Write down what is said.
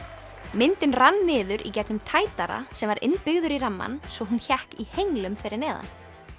myndin rann niður í gegnum tætara sem var innbyggður í rammann og hún hékk í henglum fyrir neðan